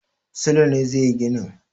Sule ne zai yi ginin.